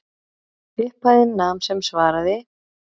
Upphæðin nam sem svaraði